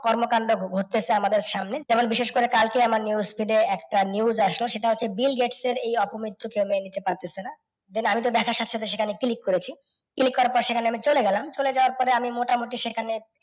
কর্মকাণ্ড ঘটতেছে আমাদের সামনে, যেমন বিশেষ করে কালকেই আমার news feed একটা news আসলো সেটা হচ্ছে Bill Gates এর এই অপমিত্ত্যুর জন্যে মেনে নিতে পারতেছে না। Then আমিতো দেখার সাথে সাথে সেখানে click করেছি click করার পর সেখানে আমি চলে গেলাম, চলে যাওয়ার পরে আমি মোটামুটি সেখানে